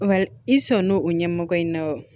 Wali i sɔnn'o o ɲɛmɔgɔ in na wa